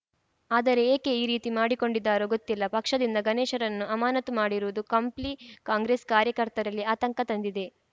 ಆದರೆ ಏಕೆ ಈ ರೀತಿ ಮಾಡಿಕೊಂಡಿದ್ದಾರೋ ಗೊತ್ತಿಲ್ಲ ಪಕ್ಷದಿಂದ ಗಣೇಶ್‌ರನ್ನು ಅಮಾನತು ಮಾಡಿರುವುದು ಕಂಪ್ಲಿ ಕಾಂಗ್ರೆಸ್‌ ಕಾರ್ಯಕರ್ತರಲ್ಲಿ ಆತಂಕ ತಂದಿದೆ